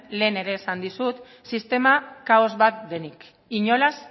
lehen ere esan dizut sistema kaos bat denik inolaz